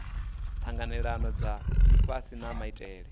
tanganelanaho dza lifhasi na maitele